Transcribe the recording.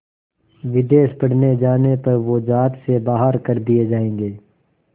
विदेश पढ़ने जाने पर वो ज़ात से बाहर कर दिए जाएंगे